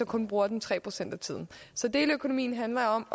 kun bruger den tre procent af tiden så deleøkonomien handler om